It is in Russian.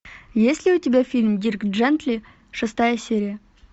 есть ли у тебя фильм дирк джентли шестая серия